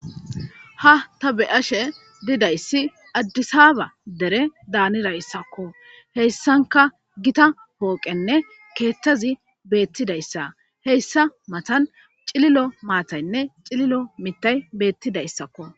ha ta be'ashe didayssi addisaba dere daanirayssakko heyssanka gita pooqenne keettazi beettidayssa heyssa matan cililo maataynne cililo mittay beettidayssakko